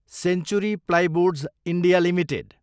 century plyboards, India, limited